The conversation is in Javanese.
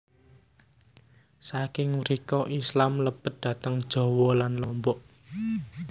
Saking mrika Islam mlebet dhateng Jawa lan Lombok